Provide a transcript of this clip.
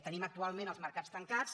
tenim actualment els mercats tancats